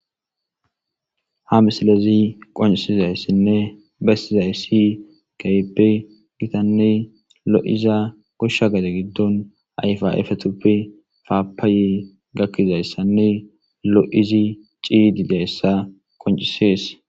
Ha misilezi qoncisizayssinne bessizay keehip gitanne lo7iza koshsha gaade giddon ayfaefe tuppe faapaaye gakkizayssanne lo7izi ciidi dayssa qoncisees.